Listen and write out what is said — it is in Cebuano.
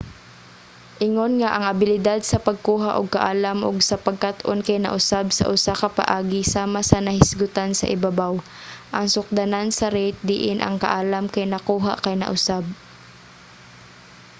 ingon nga ang abilidad sa pagkuha og kaalam ug sa pagkat-on kay nausab sa usa ka paagi sama sa nahisgutan sa ibabaw ang sukdanan sa rate diin ang kaalam kay nakuha kay nausab